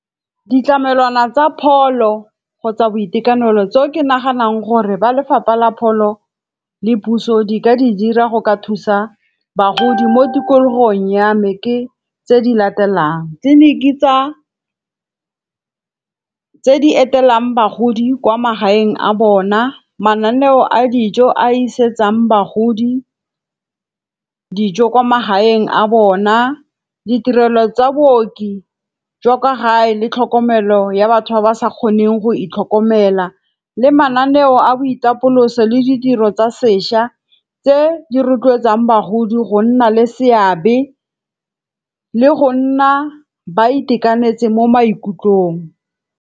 Ditlamelwana tsa pholo kgotsa boitekanelo tseo ke naganang gore ba lefapha la pholo le puso di ka di dira go ka thusa bagodi mo tikologong ya me ke tse di latelang. Tleliniki tse di etelang bagodi kwa magaeng a bona, mananeo a dijo a isegang bagodi dijo kwa magaeng a bona, ditirelo tsa booki jwa kwa gae le tlhokomelo ya batho ba ba sa kgoneng go itlhokomela le mananeo a boitapoloso le ditiro tsa sešwa tse di rotloetsang bagodi go nna le seabe le go nna ba itekanetse mo maikutlong.